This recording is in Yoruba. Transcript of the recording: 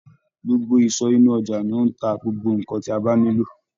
Gbogbo iso inu oja ni ó ń ta gbogbo nnkan tí a bá nílò.